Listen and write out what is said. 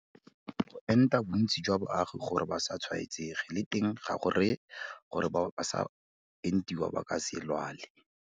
Go enta bontsi jwa baagi gore ba se tshwaetsege le teng ga go ree gore ba ba sa entiwang ba ka se lwale.